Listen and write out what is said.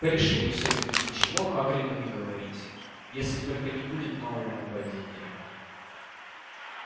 порешили всё-таки ничего хагриду не говорить если только не будет нового нападения